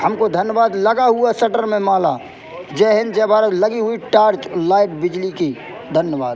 हमको धनबाद । लगा हुआ शटर में माला। जय हिंद जय भारत। लगी हुई टॉर्च लाइट बिजली की धन्यवाद।